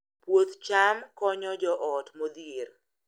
Puoth cham konyo joot modhier